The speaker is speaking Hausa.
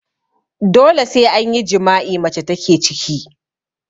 Dole sai an yi jima'i mace take ciki